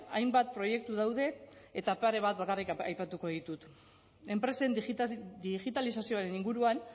hainbat proiektu daude eta pare bat bakarrik aipatuko ditut enpresen digitalizazioaren inguruan